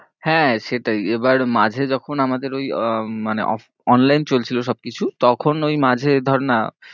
হ্যাঁ সেটাই এবার মাঝে যখন আমাদের উম online চলছিল সব কিছু, তখন ঐ মাঝে ধর না